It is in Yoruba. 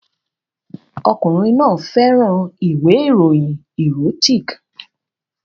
Ọkùnrin náà fẹ́ràn ìwé ìròyìn erotic